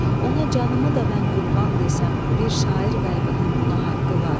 Ona canımı da mən qurban desəm, bir şair qəlbinin buna haqqı var.